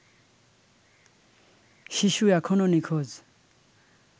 শিশু এখনও নিখোঁজ